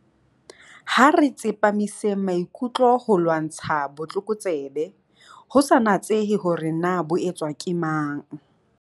Ha re tsepamiseng maikutlo ho ho lwantsha botlokotsebe, ho sa natsehe hore na bo etswa ke mang.